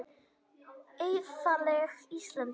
Auðlegð Íslendinga.